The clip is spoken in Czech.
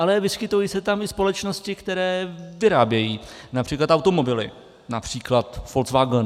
Ale vyskytují se tam i společnosti, které vyrábějí například automobily, například Volkswagen.